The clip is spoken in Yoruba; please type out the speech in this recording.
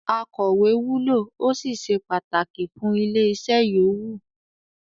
“Akọ̀wẹ́” wúlò ó sì se pàtàkì fún ilé-iṣẹ́ yòówù.